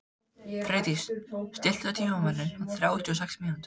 Freydís, stilltu tímamælinn á þrjátíu og sex mínútur.